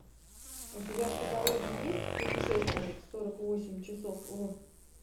у тебя в каталоге есть путешественник сорок восемь часов в